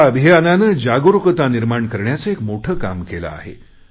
या अभियानानं जागरुकता निर्माण करण्याचे एक मोठे काम केले आहे